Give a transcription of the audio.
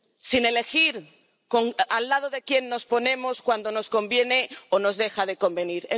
Sin elegir al lado de quién nos ponemos cuando nos conviene o nos deja de convenir.